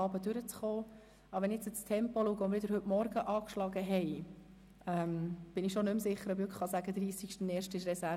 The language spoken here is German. Aber wenn wir sehen, welches Tempo wir heute Morgen angeschlagen haben, bin ich mir schon nicht mehr sicher, ob der Dienstag, 30. 01. 2018, als Reservetag dienen kann.